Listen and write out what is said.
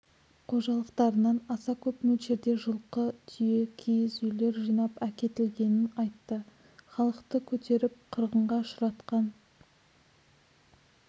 қожалықтарынан аса көп мөлшерде жылқы түйе киіз үйлер жинап әкетілгенін айтты халықты көтеріп қырғынға ұшыратқан